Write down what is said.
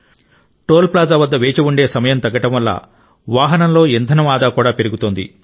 toll plaza వద్ద వేచి ఉండే సమయం తగ్గడం వల్ల వాహనంలో ఇంధనం ఆదా కూడా పెరుగుతోంది